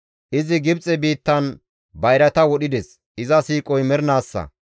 Izi Gibxe biittan bayrata wodhides; iza siiqoy mernaassa.